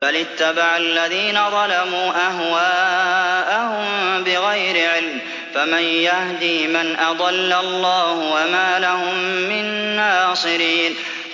بَلِ اتَّبَعَ الَّذِينَ ظَلَمُوا أَهْوَاءَهُم بِغَيْرِ عِلْمٍ ۖ فَمَن يَهْدِي مَنْ أَضَلَّ اللَّهُ ۖ وَمَا لَهُم مِّن نَّاصِرِينَ